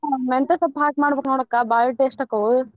ಮೆಂತೆ ಸೊಪ್ಪ ಹಾಕಿ ಮಾಡ್ಬೇಕ ನೋಡ ಅಕ್ಕಾ ಬಾಳ್ taste ಅಕ್ಕಾವು.